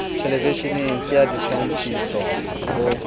thelevisheneng ke a ditshwantshiso o